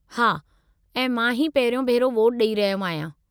हा, ऐं मां ही पहिरियों भेरो वोटु ॾेई रहियो आहियां।